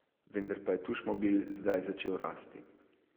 Vendar pa je Tušmobil zdaj začel rasti.